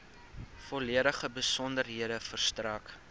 volledige besonderhede verstrek